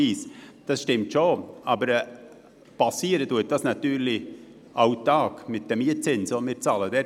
Das stimmt zwar, dies passiert jedoch auch täglich bei den Mietzinsen, welche wir bezahlen.